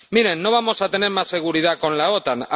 Miren, no vamos a tener más seguridad con la OTAN